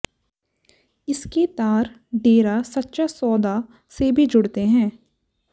इसके तार डेरा सच्चा सौदा से भी जुड़ते हैं